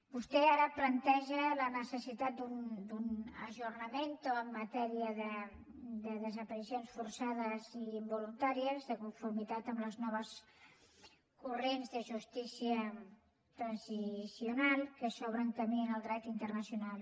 vostè ara planteja la necessitat d’un aggiornamentoen matèria de desaparicions forçades i involuntàries de conformitat amb els nous corrents de justícia transicional que s’obren camí en el dret internacional